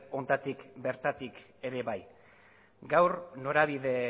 honetatik bertatik ere bai gaur norabide